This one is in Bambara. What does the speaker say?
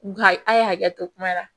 Nka a ye hakɛ to kuma na